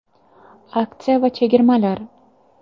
Aksiya va chegirmalar!